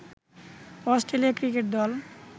Australia cricket দল